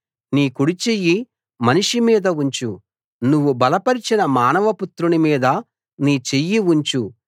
నీ కుడిచెయ్యి మనిషి మీద ఉంచు నువ్వు బలపరచిన మానవ పుత్రుని మీద నీ చెయ్యి ఉంచు